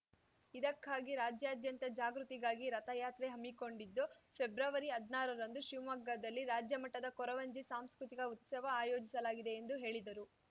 ಇದಕ್ಕಾಗಿ ರಾಜ್ಯಾದ್ಯಂತ ಜಾಗೃತಿಗಾಗಿ ರಥಯಾತ್ರೆ ಹಮ್ಮಿಕೊಂಡಿದ್ದು ಫೆಬ್ರವರಿ ಹದ್ನಾರ ರಂದು ಶಿವಮೊಗ್ಗದಲ್ಲಿ ರಾಜ್ಯಮಟ್ಟದ ಕೊರವಂಜಿ ಸಾಂಸ್ಕೃತಿಕ ಉತ್ಸವ ಆಯೋಜಿಸಲಾಗಿದೆ ಎಂದು ಹೇಳಿದರು